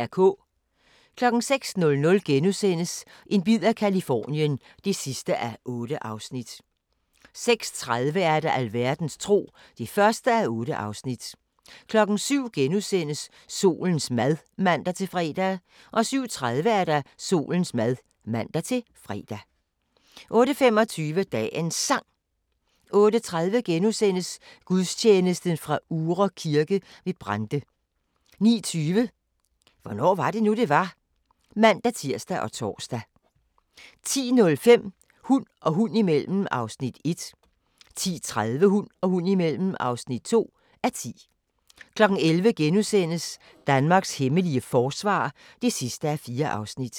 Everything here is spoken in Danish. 06:00: En bid af Californien (8:8)* 06:30: Alverdens tro (1:8) 07:00: Solens mad *(man-fre) 07:30: Solens mad (man-fre) 08:25: Dagens Sang 08:30: Gudstjeneste fra Uhre Kirke ved Brande * 09:20: Hvornår var det nu, det var? (man-tir og tor) 10:05: Hund og hund imellem (1:10) 10:30: Hund og hund imellem (2:10) 11:00: Danmarks hemmelige forsvar (4:4)*